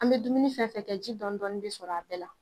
An bɛ dumuni fɛn fɛn kɛ ji dɔɔnin dɔɔnin bi sɔrɔ a bɛɛ la